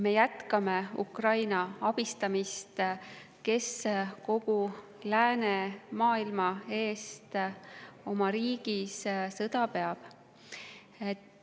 Me jätkame Ukraina abistamist, kes kogu läänemaailma eest oma riigis sõda peab.